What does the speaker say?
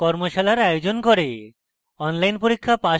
tutorials ব্যবহার করে কর্মশালার আয়োজন করে